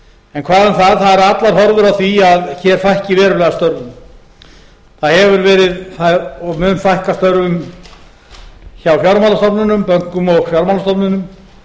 en hvað um það það eru allar horfur á því að hér fækki verulega störfum það hefur verið og mun fækka störfum hjá fjármálastofnunum bönkum og fjármálastofnunum